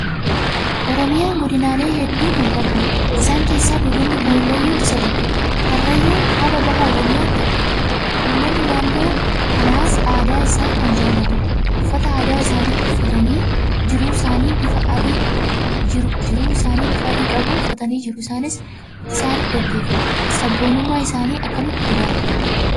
Oromiyaan godinaalee hedduu kan qabdi. Isaan keessaa Godinni Karrayyuu isa tokkodha. Karrayyuun kaaba baha Oromiyaatti argama. Uummanni naannoo kanaas aadaa isaa kan jaalatudha. Uffata aadaa isaanii uffatanii jiruu isaanii bifa Adii qabu uffatanii jiruu isaanii gaggeeffatu. Sabboonummaa isaanii akkamitti ilaalta?